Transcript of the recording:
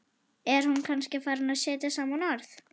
Er hún kannski farin að setja saman orð?